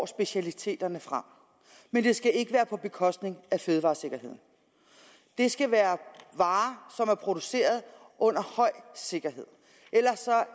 specialiteterne frem men det skal ikke være på bekostning af fødevaresikkerheden det skal være varer som er produceret under høj sikkerhed ellers